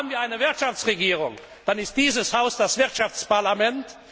Haben wir eine Wirtschaftsregierung, dann ist dieses Haus das Wirtschaftsparlament.